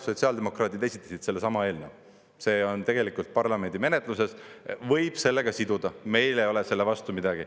Sotsiaaldemokraadid esitasid sellesama eelnõu, see on tegelikult parlamendi menetluses, võib sellega siduda, meil ei ole selle vastu midagi.